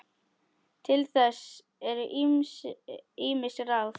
Til þess eru ýmis ráð.